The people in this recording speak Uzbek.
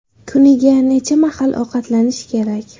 Kuniga necha mahal ovqatlanish kerak?.